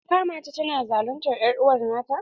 Kin kama ta tana zaluntar er'uwa nata?